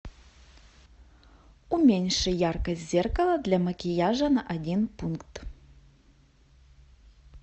уменьши яркость зеркала для макияжа на один пункт